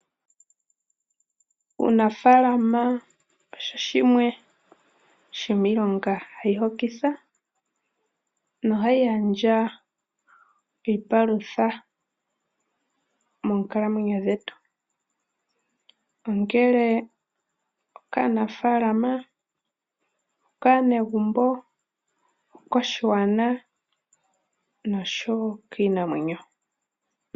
Uunafaalama osho shimwe shomiilonga hayi hokitha nahayi gandja iipalutha moonkalamwenyo dhetu, ongele okaanafaalama, okaanegumbo, okoshigwana nosho wo kiinamwenyo.